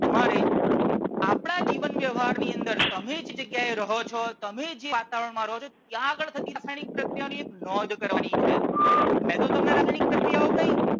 તમારે આપણાં જીવન વ્યવહાર ની અંદર તમે જે જગ્યા એ રહો છો તમે જે વાતાવરણ માં રહો છો ત્યાં આગળ થતી રાસાયણિક પ્રક્રિયાઓ ની એક નોંધ કરવાની છે. મેં તો તમને રાસાયણિક પ્રક્રિયાઓ કહી